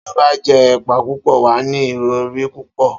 Tí ó bá jé èpá púpõ, wàá ní ìrõré púpõ